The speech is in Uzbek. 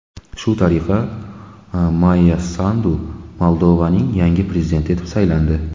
Shu tariqa Mayya Sandu Moldovaning yangi prezidenti etib saylandi.